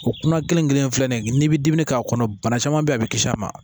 O kuma kelen kelen filɛ nin ye n'i bi dumuni k'a kɔnɔ bana caman bɛ ye a bɛ kisi a ma